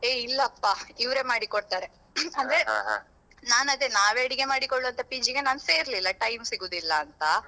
ಏ ಇಲ್ಲಪ್ಪಾ ಇವ್ರೇ ಮಾಡಿ ಕೊಡ್ತಾರೆ ಅಂದ್ರೆ ನಾನ್ ಅದೇ ನಾವೇ ಅಡಿಗೆ ಮಾಡಿಕೊಳ್ಳುವಂತ PG ಗೆ ನಾನ್ ಸೇರ್ಲಿಲ್ಲ time ಸಿಗುದಿಲ್ಲ ಅಂತ.